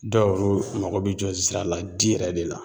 Dɔw yɛrɛw mako bɛ jɔ zira la di yɛrɛ de la